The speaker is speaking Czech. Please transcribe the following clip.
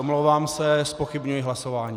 Omlouvám se, zpochybňuji hlasování.